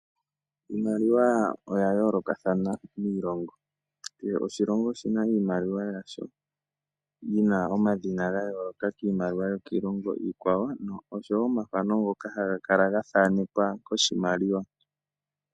Iimaliwa oya yoolokathana miilongo, kehe oshilongo oshina iimaliwa yasho yina omadhina ga yooloka kiimaliwa yo kiilongo iikwawo, oshowo omathano ngoka haga kala ga thanekwa koshimaliwa.